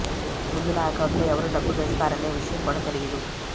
ముందు నా అకౌంట్లో ఎవరు డబ్బు వేస్తారనే విషయం కూడా తెలీదు